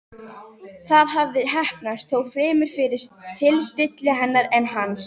Það hafði heppnast, þó fremur fyrir tilstilli hennar en hans.